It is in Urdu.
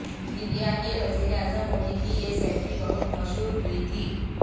انڈیا کے وزیر اعظم مودی کی یہ سیلفی بہت مشہور ہوئی تھی